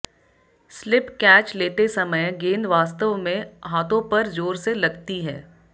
slip catch लेते समय गेंद वास्तव में हाथों पर जोर से लगती है